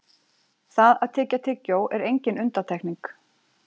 það að tyggja tyggjó er engin undantekning